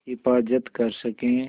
हिफ़ाज़त कर सकें